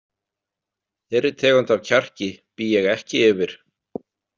Þeirri tegund af kjarki bý ég ekki yfir.